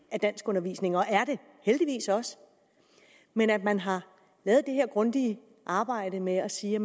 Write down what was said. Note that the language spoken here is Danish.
af danskundervisningen og er det heldigvis også men at man har lavet det her grundige arbejde med at sige